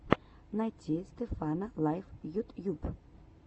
найти стефана лайф ютьюб